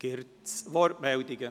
Gibt es Wortmeldungen?